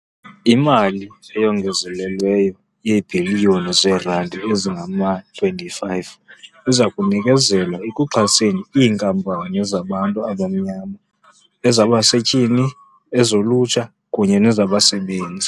Imali eyongezelelweyo yeebhiliyoni zeerandi ezingama-25 izakunikezelwa ekuxhaseni iinkampani zabantu abamnyama, ezabasetyhini, ezolutsha kunye nezabasebenzi.